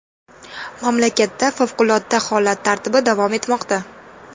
Mamlakatda favqulodda holat tartibi davom etmoqda.